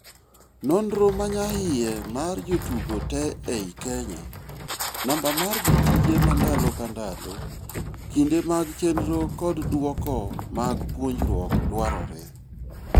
Nonro manyahiye mar jotugo te ei Kenya, namba mar jotije mandalo ka ndalo, kinde mag chendro kod duoko mag puonjruok dwarore.